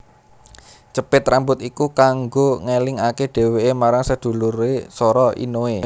Cepit rambut iku kanggo ngelingake dheweke marang sedulure Sora Inoe